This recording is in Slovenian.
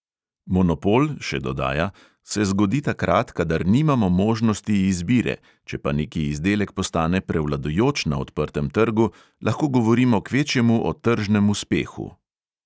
Monopol, še dodaja, se zgodi takrat, kadar nimamo možnosti izbire, če pa neki izdelek postane prevladujoč na odprtem trgu, lahko govorimo kvečjemu o tržnem uspehu.